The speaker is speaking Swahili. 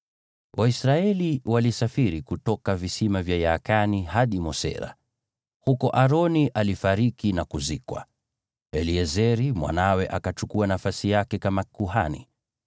(Waisraeli walisafiri kutoka visima vya Yaakani hadi Mosera. Huko Aroni alifariki na kuzikwa, naye Eleazari mwanawe akachukua nafasi yake kama kuhani.